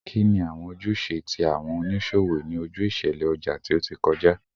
Kini awọn ojuse ti awọn oniṣowo ni oju iṣẹlẹ ọja ti o ti kọja?